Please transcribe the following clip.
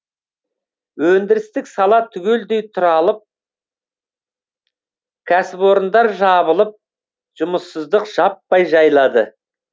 өндірістік сала түгелдей тұралып кәсіпорындар жабылып жұмыссыздық жаппай жайлады